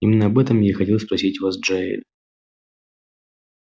именно об этом я и хотел спросить вас джаэль